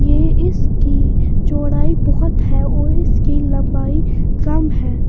ये इसकी चौड़ाई बहुत है और इसकी लंबाई कम है।